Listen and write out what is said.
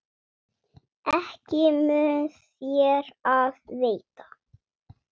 Ekki mun þér af veita.